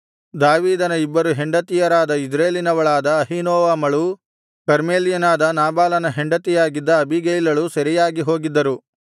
ದಾವೀದನ ಇಬ್ಬರು ಹೆಂಡತಿಯರಾದ ಇಜ್ರೇಲಿನವಳಾದ ಅಹೀನೋವಮಳೂ ಕರ್ಮೆಲ್ಯನಾದ ನಾಬಾಲನ ಹೆಂಡತಿಯಾಗಿದ್ದ ಅಬೀಗೈಲಳೂ ಸೆರೆಯಾಗಿ ಹೋಗಿದ್ದರು